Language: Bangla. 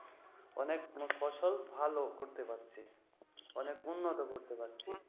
অনেক ফসল ভাল করতে পারছি। অনেক উন্নত করতে পারছি